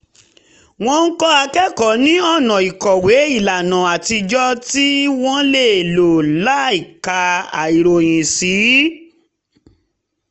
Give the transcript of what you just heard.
ó ń kọ́ akẹ́kọ̀ọ́ ní ọ̀nà ìkọ̀wé ìlànà àtijọ́ tí wọ́n lè lò láìka ìròyìn sí